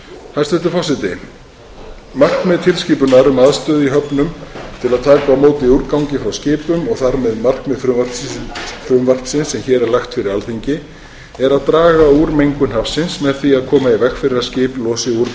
hæstvirtur forseti markmið tilskipunar um aðstöðu í höfnum til að taka á móti úrgangi frá skipum og þar með markmið frumvarpsins sem hér er lagt fyrir alþingi er að draga úr mengun hafsins með því að koma í veg fyrir að skip losi úrgang